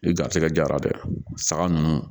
I garisigɛ diyara dɛ saga ninnu